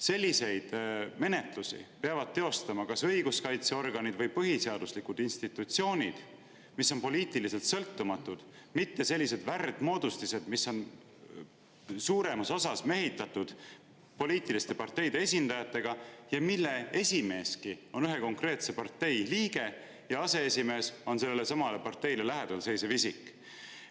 Selliseid menetlusi peavad teostama kas õiguskaitseorganid või põhiseaduslikud institutsioonid, mis on poliitiliselt sõltumatud, mitte sellised värdmoodustised, mis on suuremas osas mehitatud poliitiliste parteide esindajatega ja mille esimeeski on ühe konkreetse partei liige ja mille aseesimees on sellelesamale parteile lähedal seisev isik.